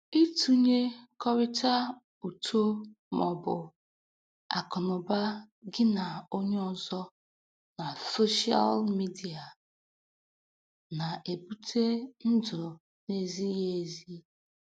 Ịtụnyekọrịta uto maọbụ akụnụba gị na onye ọzọ na soshịal midia na-ebute ndụ n'ezighị ezi